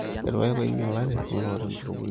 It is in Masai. irrpaek oinyalate ooloota empurukunyi.